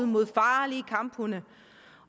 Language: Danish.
mod farlige kamphunde